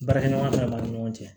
Baarakɛɲɔgɔn bɛɛ b'an ni ɲɔgɔn cɛ